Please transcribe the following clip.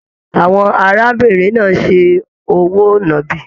Àwọn arábìnrin náà se òwò náàbi.